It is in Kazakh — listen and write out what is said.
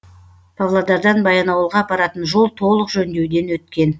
павлодардан баянауылға апаратын жол толық жөндеуден өткен